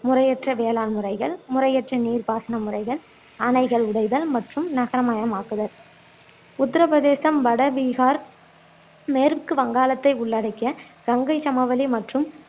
முறையற்ற வேளாண் முறைகள் முறையற்ற நீர் பாசன முறைகள் அணைகள் உடைதல் மற்றும் நகரமயமாக்குதல் உத்திரபிரதேசம், வட பீகார், மேற்கு வங்காளத்தை உள்ளடக்கிய கங்கைச் சமவெளி மற்றும்